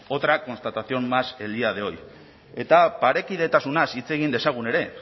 otra constatación más el día de hoy eta parekidetasunaz hitz egin dezagun ere